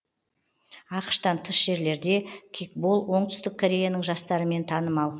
ақш тан тыс жерлерде кикбол оңтүстік кореяның жастарымен танымал